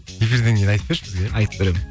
эфирден кейін айтып берші бізге айтып беремін